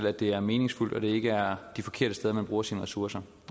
at det er meningsfuldt og ikke er de forkerte steder man bruger sine ressourcer